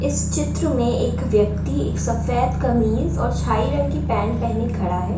इस चित्र में एक व्यक्ति सफ़ेद कमीज़ और रंग की पैंट पहने खड़ा है।